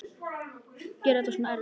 Gera þetta svona erfitt.